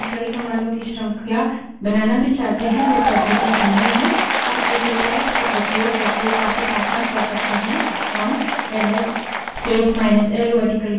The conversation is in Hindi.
हम इसे pipes का उपयोग करके काफी आसान कर सकते हैं हम L S space minus L vertical bar WC space minus L ls space minus l vertical bar wc space minus l लिखते हैं